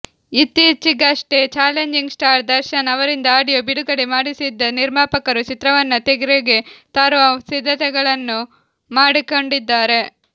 ಇತ್ತಿಚಿಗಷ್ಟೇ challenging star Darshan ಅವರಿಂದ audio ಬಿಡುಗಡೆ ಮಾಡಿಸಿದ್ದ ನಿರ್ಮಾಪಕರು ಚಿತ್ರವನ್ನ ತೆರೆಗೆ ತರುವ ಸಿದ್ಧತೆಗಳನ್ನ ಮಾಡಿಕೊಂಡಿದ್ದಾರೆ